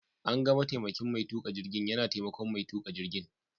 An ga mataimakin Mai tuƙa jirgin yana taimakon mai tuƙa jirgin.